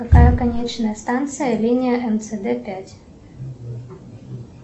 какая конечная станция линия мцд пять